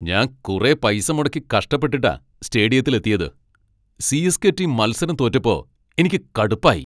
ഞാൻ കുറെ പൈസ മുടക്കി കഷ്ടപെട്ടിട്ടാ സ്റ്റേഡിയത്തിൽ എത്തിയത്, സി.എസ്.കെ. ടീം മത്സരം തോറ്റപ്പോ എനിക്ക് കടുപ്പായി.